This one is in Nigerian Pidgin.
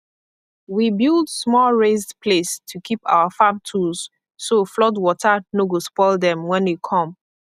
we build small raised place to keep our farm tools so flood water no go spoil dem when e come